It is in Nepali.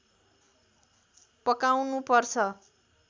पकाउनु पर्छ